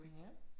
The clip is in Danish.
Ja